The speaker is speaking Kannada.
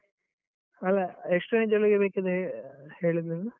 ಅಲ ಎಷ್ಟು range ಒಳಗೆ ಬೇಕು ಅಂತ ಹೇಳಿದ್ದು ನೀನು?